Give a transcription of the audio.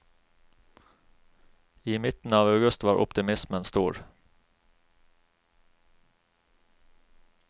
I midten av august var optimismen stor.